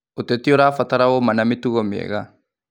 Ũteti ũrabatara ũma na mĩtugo mĩega.